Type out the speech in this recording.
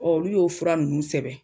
Ɔ olu y'o fura nunnu sɛbɛ